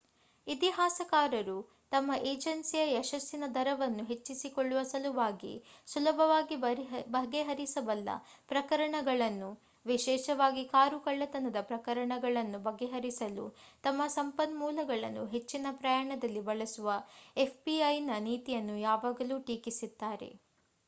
ಇತಿಹಾಸಕಾರರು ತಮ್ಮ ಎಜನ್ಸಿಯ ಯಶಸ್ಸಿನ ದರವನ್ನು ಹೆಚ್ಚಿಸಿಕೊಳ್ಳುವ ಸಲುವಾಗಿ ಸುಲಭವಾಗಿ ಬಗೆಹರಿಸಬಲ್ಲ ಪ್ರಕರಣಗಳನ್ನು ವಿಶೇಷವಾಗಿ ಕಾರು ಕಳ್ಳತನದ ಪ್ರಕರಣಗಳನ್ನು ಬಗೆಹರಿಸಲು ತಮ್ಮ ಸಂಪನ್ಮೂಲಗಳನ್ನು ಹೆಚ್ಚಿನ ಪ್ರಮಾಣದಲ್ಲಿ ಬಳಸುವ fbi ನ ನೀತಿಯನ್ನು ಯಾವಾಗಲೂ ಟೀಕಿಸಿದ್ದಾರೆ